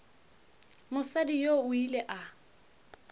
mosadi yoo o ile a